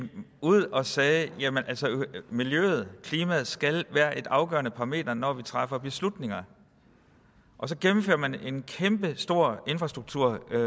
ud og sagde jamen miljøet og klimaet skal være en afgørende parameter når vi træffer beslutninger og så gennemfører man en kæmpestor infrastrukturbeslutning